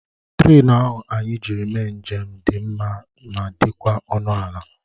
Trén ahụ anyị jiri mee njem dị mma ma dịkwa ọnụ ala